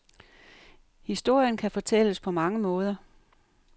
Historien kan fortælles på mange måder.